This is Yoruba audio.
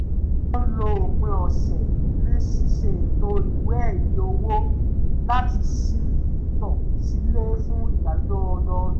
wọ́n lo òpin ọ̀sẹ̀ ní ṣíṣe ètò ìwé ẹ̀rí owó láti ṣ`tò sílẹ̀ fún ìdájọ́ ọdọọdún